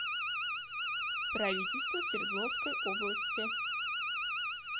правительство свердловской области